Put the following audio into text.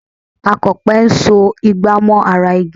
Akọ̀pẹ ń so ìgbà mọ́ ara igi